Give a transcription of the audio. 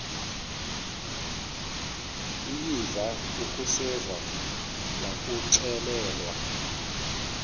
uyeva akuseva ngakuxelelwa